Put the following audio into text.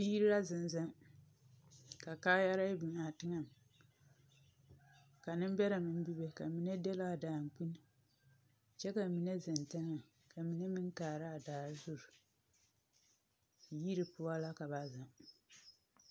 Biiri ra zeŋ zeŋ ka kaayarɛɛ biŋ a teŋɛŋ. Ka nembɛrɛ meŋ bibe ka mine dɛle a daŋkyini kyɛ ka mine zeŋ teŋɛŋ ka mine meŋkaara a dare zuri. Yiri poɔ la ka ba zeŋ.